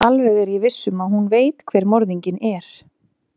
Alveg er ég viss um að hún veit hver morðinginn er.